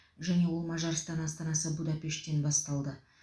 және ол мажарстан астанасы будапешттен басталды